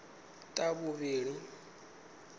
ḽavhuvhili